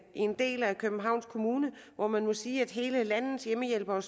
i en del af københavns kommune hvor man må sige at stort set alle landets hjemmehjælpere